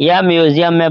यह म्यूजियम में